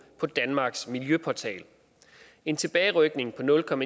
på danmarks miljøportal en tilbagerykning på nul m